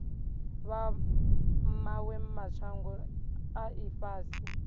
vha mawe mashango a ifhasi